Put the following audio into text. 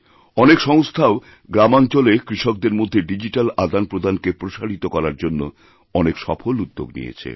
অনেক সংস্থাওগ্রামাঞ্চলে কৃষকদের মধ্যে ডিজিট্যাল আদানপ্রদানকে প্রসারিত করার জন্য অনেক সফল উদ্যোগনিয়েছে